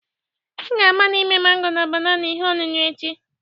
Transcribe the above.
M ga-agbalị ime mango na banana ihe ọṅụṅụ echi